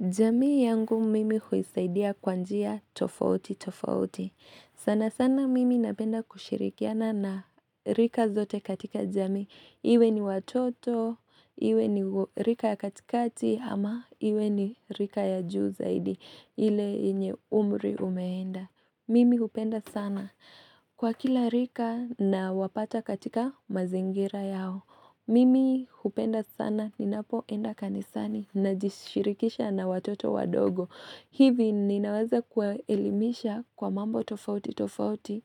Jamii yangu mimi huisaidia kwa njia tofauti, tofauti. Sana sana mimi napenda kushirikiana na rika zote katika jamii. Iwe ni watoto, iwe ni rika ya katikati ama iwe ni rika ya juu zaidi ile yenye umri umeenda. Mimi hupenda sana. Kwa kila rika na wapata katika mazingira yao. Mimi hupenda sana ninapoenda kanisani na jishirikisha na watoto wa dogo. Hivi ninawaza kuwaelimisha kwa mambo tofauti tofauti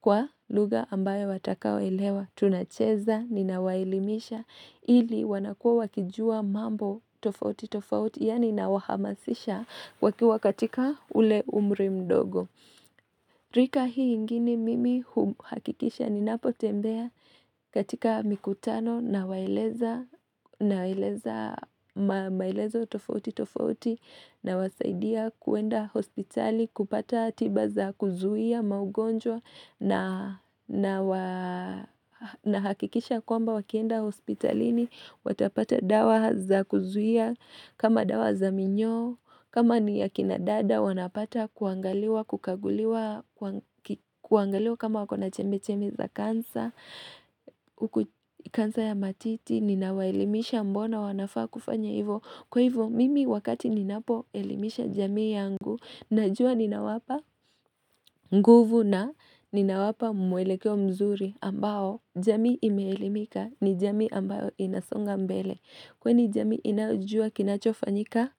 kwa lugha ambayo watakao elewa. Tunacheza ninawaelimisha ili wanakua wakijua mambo tofauti tofauti yani nawahamasisha wakiwa katika ule umri mdogo. Rika hii ingine mimi hakikisha ni napotembea katika mikutano nawaeleza tofauti tofauti nawasaidia kuenda hospitali kupata tiba za kuzuhia maugonjwa na hakikisha kwamba wakienda hospitalini watapata dawa za kuzuhia kama dawa za minyoo kama ni akina dada wanapata kuangaliwa kukaguliwa kuangaliwa kama wakona chemi chemi za kansa, huku kansa ya matiti, ninawaelimisha mbona wanafaa kufanya hivyo. Kwa hivyo, mimi wakati ninapo elimisha jamii yangu, najua ninawapa nguvu na ninawapa mwelekeo mzuri ambao jamii imeelimika ni jamii ambayo inasonga mbele. Kwani jami inayojua kinachofanyika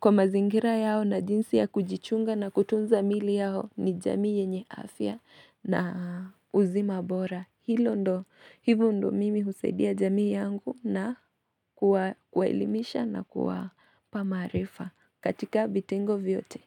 kwa mazingira yao na jinsi ya kujichunga na kutunza miili yao ni jamii yenye afya na uzima bora. Hilo ndo, hivo ndo mimi husaidia jamii yangu na kuwa elimisha na kuwapa maarifa katika vitengo vyote.